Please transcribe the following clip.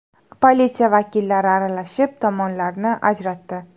Politsiya vakillari aralashib, tomonlarni ajratdi.